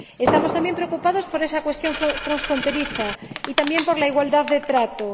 Estamos también preocupados por esa cuestión transfronteriza, y también por la igualdad de trato.